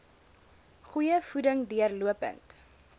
goeie voeding deurlopend